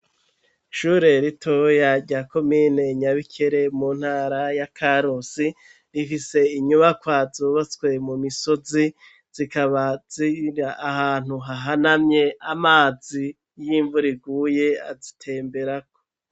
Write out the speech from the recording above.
Ishure ritoya rya komine Nyabikere mu ntara ya Karusi rifise inyubakwa zubatswe mu misozi zikaba ziri ahantu hahanamye amazi y'imvura iguye azitemberako